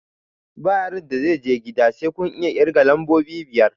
Ba yaron da zai je gida sai kun iya ƙirga lambobi biyar!